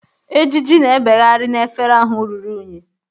Ejiji na ebeghari na efere ahụ rụrụ unyi